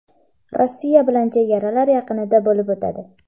Rossiya bilan chegaralar yaqinida bo‘lib o‘tadi.